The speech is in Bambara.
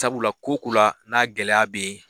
Sabula ko ko la n'a gɛlɛya be yen